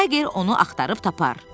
Tayger onu axtarıb tapar.